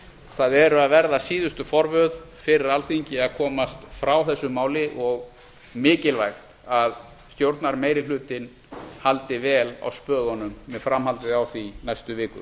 það eru að verða síðustu forvöð fyrir alþingi að komast frá þessu máli og mikilvægt að stjórnarmeirihlutinn haldi vel á spöðunum með framhaldið á því næstu vikur